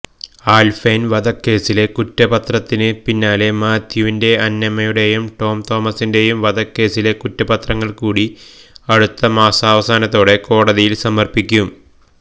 ആൽഫൈൻ വധക്കേസിലെ കുറ്റപത്രത്തിന് പിന്നാലെ മാത്യുവിന്റെയും അന്നമ്മയുടെയും ടോം തോമസിന്റെയും വധക്കേസിലെ കുറ്റപത്രങ്ങൾ കൂടി അടുത്ത മാസാവസാനത്തോടെ കോടതിയിൽ സമർപ്പിക്കും